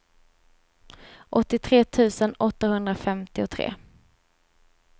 åttiotre tusen åttahundrafemtiotre